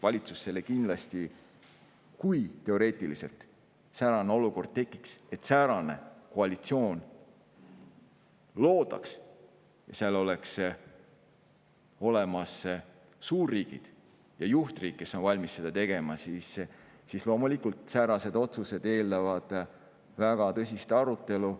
Kui tekiks – teoreetiliselt – selline olukord, et säärane koalitsioon loodaks, kui oleks olemas suurriigid ja juhtriik, kes on valmis seda tegema, siis eeldaksid sellekohased otsused loomulikult väga tõsist arutelu.